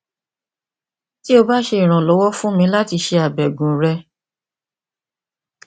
ti o ba ṣe iranlọwọ fun mi lati ṣe abẹgun rẹ